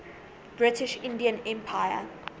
british indian empire